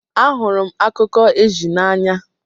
Ahụrụ m akụkọ ezi n'anya.